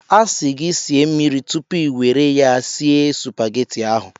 A sị gị sie mmiri tupu ị nwere ya sie supageti ahụ.